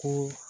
Ko